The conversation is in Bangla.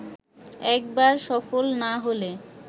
একবার সফল না হলে